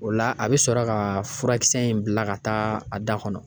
O la a bi sɔrɔ ka furakisɛ in bila ka taa a da kɔnɔ